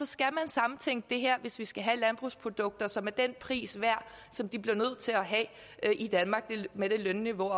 skal man samtænke det her hvis vi skal have landbrugsprodukter som er den pris værd som de bliver nødt til at have i danmark med det lønniveau